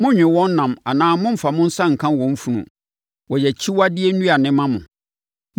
Monnnwe wɔn nam anaa mommfa mo nsa nka wɔn funu; wɔyɛ akyiwadeɛ nnuane ma mo.